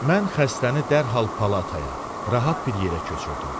Mən xəstəni dərhal palataya, rahat bir yerə köçürdüm.